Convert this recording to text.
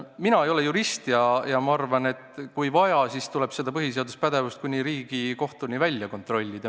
Mina ei ole jurist ja ma arvan, et kui vaja, siis tuleb seda põhiseaduspärasust kuni Riigikohtuni välja kontrollida.